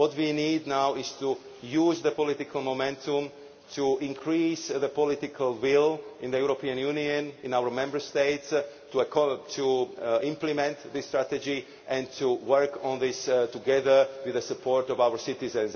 What we need now is to use the political momentum to increase the political will in the European Union, in our Member States, to implement this strategy and to work on this together with the support of our citizens.